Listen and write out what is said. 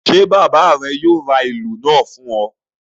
Ṣé bàbá rẹ yóò ra ìlù náà fún ọ.